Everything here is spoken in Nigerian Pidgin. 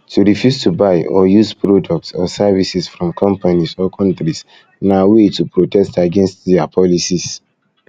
to refuse to buy or use products or services from companies or countries na way to protest against their policies